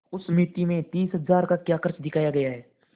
उस मिती में तीस हजार का क्या खर्च दिखाया गया है